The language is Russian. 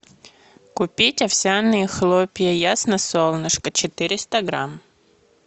купить овсяные хлопья ясно солнышко четыреста грамм